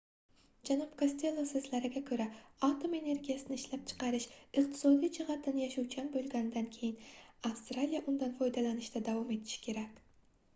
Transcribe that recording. janob kostelo soʻzlariga koʻra atom energiyasini ishlab chiqarish iqtisodiy jihatdan yashovchan boʻlganidan keyin avstraliya undan foydalanishda davom etishi kerak